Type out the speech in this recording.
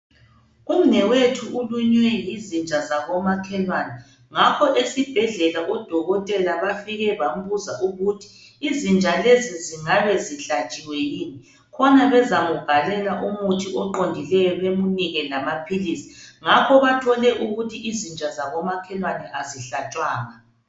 Umnewethu ulunywe yizinja zako makhelwane ngakho esibhedlela odokotela bafike bambuza ukuthi izinja lezi zingabe zihlatshiwe yini khona bemzambhalela umuthi oqondileyo bemnike lamaphilisi ngakho bathole ukuthi izinja zako makhelwane azihlatshwanga.